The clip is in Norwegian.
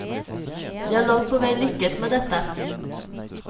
De har langt på vei lykkes med dette.